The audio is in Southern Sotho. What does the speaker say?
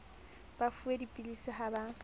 ba fuwe dipilisi ha ba